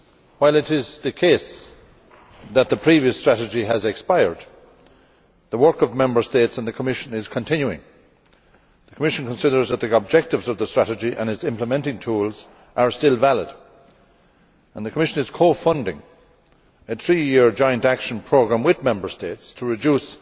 While it is the case that the previous strategy has expired, the work of Member States and the Commission is continuing. The Commission considers that the objectives of the strategy and its implementing tools are still valid and is co funding a three year joint action programme with Member States to reduce